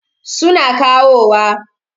Su na kawowa.